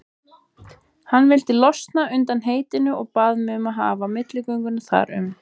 Hann vildi losna undan heitinu og bað mig að hafa milligöngu þar um.